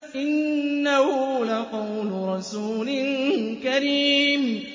إِنَّهُ لَقَوْلُ رَسُولٍ كَرِيمٍ